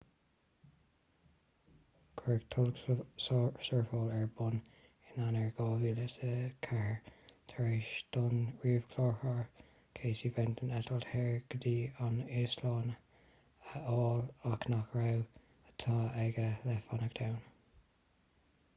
cuireadh tolgshurfáil ar bun in eanáir 2004 tar éis don ríomhchláraitheoir casey fenton eitilt shaor go dtí an íoslainn a fháil ach nach raibh áit aige le fanacht ann